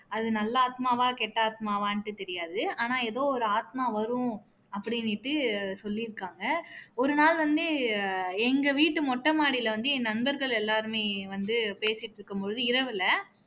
அது நல்ல ஆத்மாவா கெட்ட ஆத்மாவான்னுட்டு தெரியாது ஆனா எதோ ஒரு ஆத்மா வரும் அப்படின்னுட்டு சொல்லிருக்காங்க ஒரு நாள் வந்து எங்க வீட்டு மொட்ட மாடியில வந்து என் நண்பர்கள் எல்லாருமே வந்து பேசிட்டு இருக்கும் பொழுது இரவுல